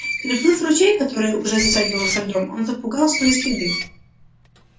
переплыв ручей который уже затягивался льдом он запугал свои следы